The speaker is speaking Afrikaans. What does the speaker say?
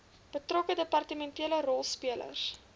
betrokke departementele rolspelers